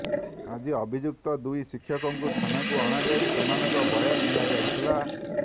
ଆଜି ଅଭିଯୁକ୍ତ ଦୁଇ ଶିକ୍ଷକଙ୍କୁ ଥାନାକୁ ଅଣାଯାଇ ସେମାନଙ୍କ ବୟାନ ନିଆ ଯାଇଥିଲା